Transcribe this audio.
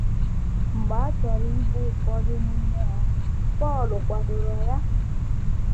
Mgbe a chọrọ igbu ụfọdụ n’ime ha, Pọl kwadoro ya.